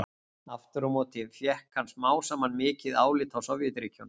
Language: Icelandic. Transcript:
Aftur á móti fékk hann smám saman mikið álit á Sovétríkjunum.